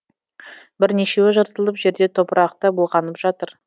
бірнешеуі жыртылып жерде топырақта былғанып жатыр